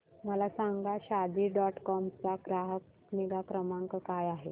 मला सांगा Shaadi dot com चा ग्राहक निगा क्रमांक काय आहे